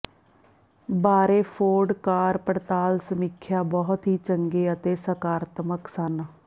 ਬਾਰੇ Ford car ਪੜਤਾਲ ਸਮੀਖਿਆ ਬਹੁਤ ਹੀ ਚੰਗੇ ਅਤੇ ਸਕਾਰਾਤਮਕ ਸਨ